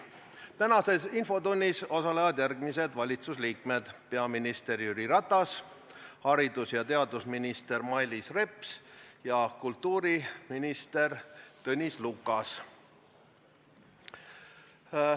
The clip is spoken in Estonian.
Tänases infotunnis osalevad järgmised valitsusliikmed: peaminister Jüri Ratas, haridus- ja teadusminister Mailis Reps ja kultuuriminister Tõnis Lukas.